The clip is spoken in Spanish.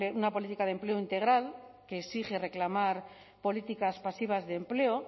una política de empleo integral que exige reclamar políticas pasivas de empleo